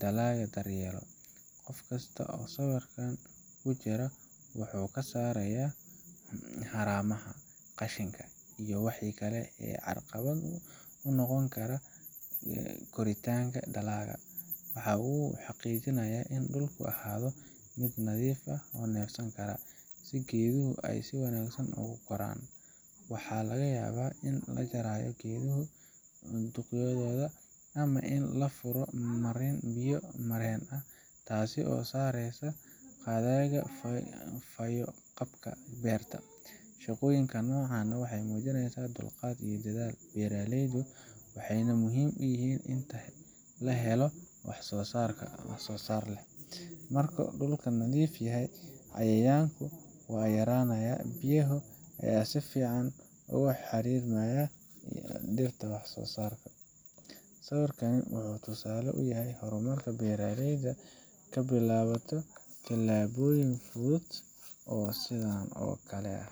dhalaaga daryeelo qofkasta oo sawirkaan kujiro waxuu kasaarayaa haraamaha qashinka iyo waxi kale ee carqalada unoqoni kara koritanka dhalaaga waxaa uu u xaqijinayaa in dhulku ahaado mid nadiif ah oo nefsan kara si geeduhu si wanagsan oogu koraan waxaa laga yaaba in la jaraayo geeduhu dhuqyadooda ama lafuro marin biyo mareen ah taasi oo sareesa qaadaga fayo qabka beerta shaqoyinkaan nocaan waxay muujineesa dhulqaad iyo dadaal beeraleydu waxay muhim uyihiin waxsoo sarka marka dhulka nadiif yahay cayayaanku uu yaranayaa biyaha ayaa si fican uga xariir mayaa dhirta wax soosarrka sawirkan waxuu tusaale uyahay horaamarka beraleyda ka bilawato tilaaboyin fudud oo sidan oo kale ah.